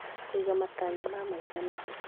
Kũiga matanya ma maica na